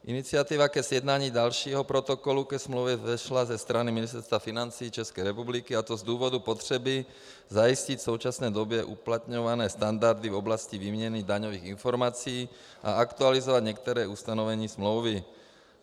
Iniciativa ke sjednání dalšího protokolu ke smlouvě vzešla ze strany Ministerstva financí České republiky, a to z důvodu potřeby zajistit v současné době uplatňované standardy v oblasti výměny daňových informací a aktualizovat některé ustanovení smlouvy.